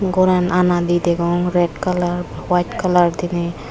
goran anadi degong red colour white colour diney.